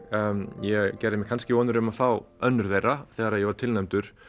ég gerði mér kannski vonir um að fá önnur þeirra þegar ég var tilnefndur